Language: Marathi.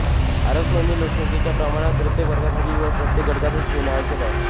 आरक्षण हे लोकसंख्येच्या प्रमाणात प्रत्येक प्रवर्गासाठी व प्रत्येक गटासाठी ठेवणे आवश्यक आहे